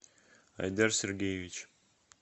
айдар сергеевич